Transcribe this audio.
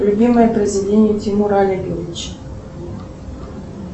любимое произведение тимура олеговича